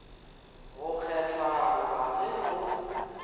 go kgethwa goba ge go